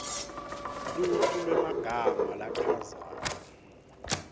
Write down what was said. luhlu lwemagama lachazwako